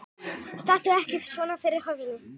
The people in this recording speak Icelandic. Stattu ekki svona fyrir hurðinni!